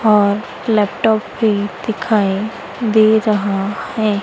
अं laptop भी दिखाई दे रहा हैं।